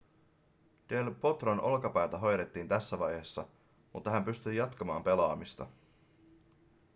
del potron olkapäätä hoidettiin tässä vaiheessa mutta hän pystyi jatkamaan pelaamista